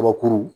Kabakuru